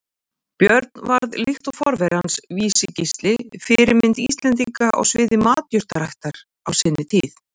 Björn varð, líkt og forveri hans Vísi-Gísli, fyrirmynd Íslendinga á sviði matjurtaræktar á sinni tíð.